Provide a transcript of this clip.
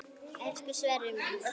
Elsku Sverrir minn.